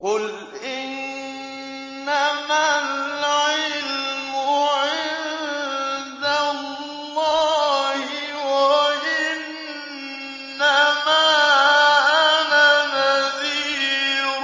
قُلْ إِنَّمَا الْعِلْمُ عِندَ اللَّهِ وَإِنَّمَا أَنَا نَذِيرٌ